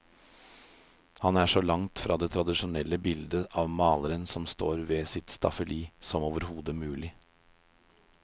Han er så langt fra det tradisjonelle bildet av maleren som står ved sitt staffeli, som overhodet mulig.